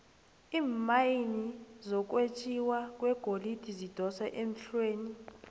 iimayini zokwenjiwa kwegolide zidosa emhlweni